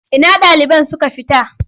Ina ɗaliban suka tafi?